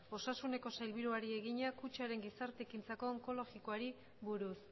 osasuneko sailburuari egina kutxaren gizarte ekintzako onkologikoari buruz